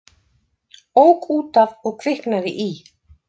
Ók út af og kviknaði í